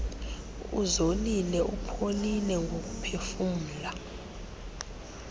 uzolile upholile ngokuphefumla